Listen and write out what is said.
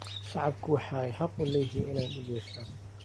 Shacabku waxay xaq u leeyihiin inay dhul yeeshaan.